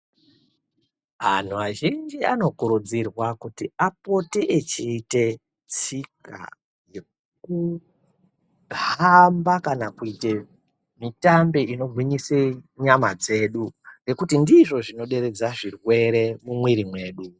Anhu azhinji anokurudzirwa kuti apote echiita tsika yekuhamba kana kuite mitambe inogwinyise nyama dzedu ngekuti ndizvo zvinoderedza zvirwere mumwiri mwedu.